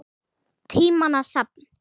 Tímanna safn